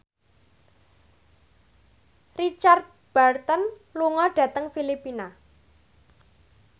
Richard Burton lunga dhateng Filipina